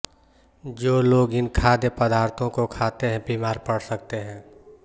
जो लोग इन खाद्य पदार्थों को खाते हैं बीमार पड़ सकते हैं